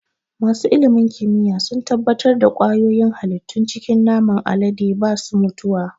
Masu ilimin kimiyya sun tabbatar da ƙwayoyin halittun cikin naman alade ba su mutuwa.